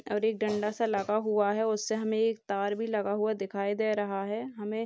और एक डंडा सा लगा हुआ है उसे हमें एक तार भी लगा हुआ दिखाई दे रहा है हमें --